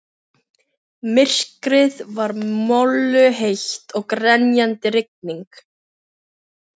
Myrkrið var molluheitt og grenjandi rigning.